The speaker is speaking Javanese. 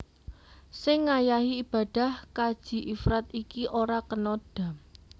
Sing ngayahi ibadah kaji ifrad iki ora kena dham